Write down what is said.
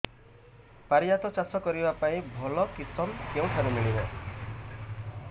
ପାରିଜାତ ଚାଷ କରିବା ପାଇଁ ଭଲ କିଶମ କେଉଁଠାରୁ ମିଳିବ